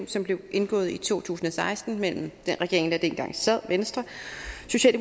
som blev indgået i to tusind og seksten mellem den regering der sad dengang altså venstre